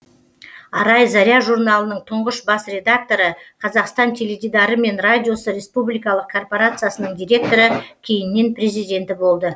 арай заря журналының тұңғыш бас редакторы қазақстан теледидары мен радиосы респупбликалық корпорациясының директоры кейіннен президенті болды